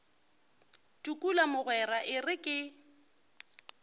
tukula mogwera e re ke